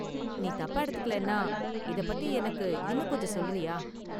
நீ தப்பா எடுத்துக்கலன்னா, இதைப் பத்தி எனக்கு இன்னும் கொஞ்சம் சொல்றியா?